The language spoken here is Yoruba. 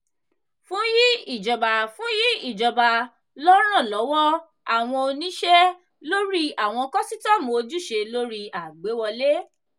fun yi ijoba fun yi ijoba lọ ran lọwọ awọn oniṣẹ lori awọn kọsitọmu ojuse lori agbewọle.